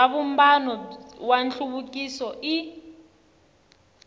bya vumbano wa nhluvukiso i